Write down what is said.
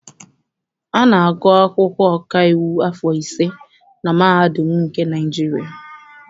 A na-agụ akwụkwọ ọkaiwu afọ ise na mahadum nke Naịjirịa.